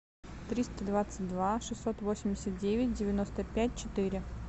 триста двадцать два шестьсот восемьдесят девять девяносто пять четыре